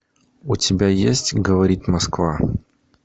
у тебя есть говорит москва